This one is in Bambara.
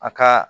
A ka